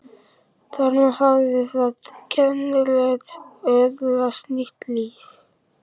Þar með hafði þetta kennileiti öðlast nýtt líf.